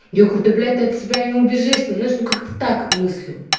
я говорю да блять ты от себя не убежишь ты знаешь ну как-то так мыслю